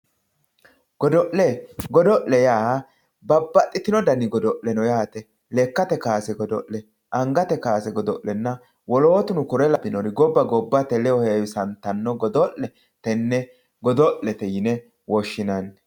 Godo'le, godo'le yaa babbaxxitino dani godo'le no yaate lekkate kaase godo'le, angate kaase godo'lenna wolootuno kore lawinori gobba gobbate ledo heewissattano godo'le tene godo'lete yine woshshinanni.